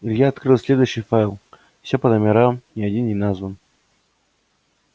илья открыл следующий файл все по номерам ни один не назван